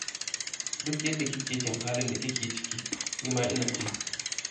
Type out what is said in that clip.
Duk yadda kike jin halin da kike ciki, ni ma ina ji